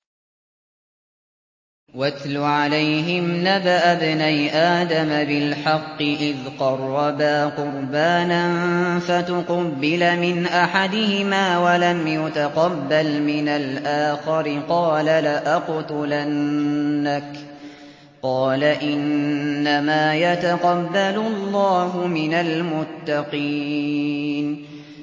۞ وَاتْلُ عَلَيْهِمْ نَبَأَ ابْنَيْ آدَمَ بِالْحَقِّ إِذْ قَرَّبَا قُرْبَانًا فَتُقُبِّلَ مِنْ أَحَدِهِمَا وَلَمْ يُتَقَبَّلْ مِنَ الْآخَرِ قَالَ لَأَقْتُلَنَّكَ ۖ قَالَ إِنَّمَا يَتَقَبَّلُ اللَّهُ مِنَ الْمُتَّقِينَ